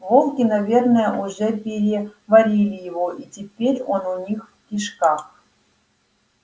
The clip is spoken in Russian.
волки наверно уже переварили его и теперь он у них в кишках